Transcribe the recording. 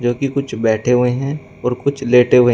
जो कि कुछ बैठे हुए हैं और कुछ लेटें हुए --